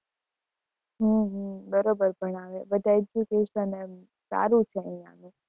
હમ હમ બરોબર ભણાવે બધા education એમ સારું છે અહિયાં આગળ.